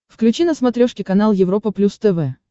включи на смотрешке канал европа плюс тв